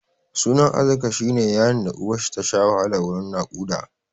Sunan Arzika shi ne yaron da uwarshi tasha wahala wurin naƙuda.